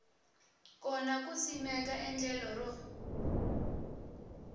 kona ku simeka endlelo ro